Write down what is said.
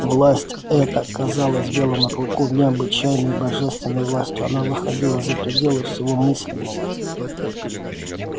власть эта казалась белому клыку необычайной божественной властью она выходила за пределы всего мыслимого